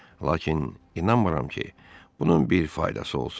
Lakin inanmıram ki, bunun bir faydası olsun.